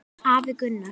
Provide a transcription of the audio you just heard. Afi Gunnar.